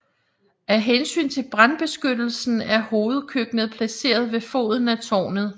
Af hensyn til brandbeskyttelsen er hovedkøkkenet placeret ved foden af tårnet